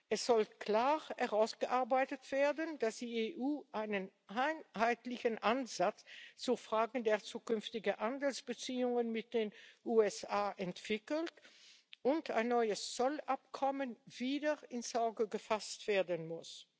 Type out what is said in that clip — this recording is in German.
Es sollte klar herausgearbeitet werden, dass die EU einen einheitlichen Ansatz zu Fragen der zukünftigen Handelsbeziehungen mit den USA entwickelt und ein neues Zollabkommen wieder ins Auge gefasst werden muss.